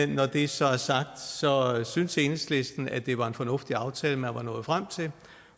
når det så er sagt synes enhedslisten at det var en fornuftig aftale man var nået frem til